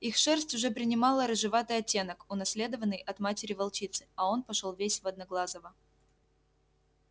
их шерсть уже принимала рыжеватый оттенок унаследованный от матери волчицы а он пошёл весь в одноглазого